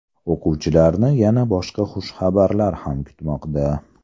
O‘quvchilarni yana boshqa xushxabarlar ham kutmoqda.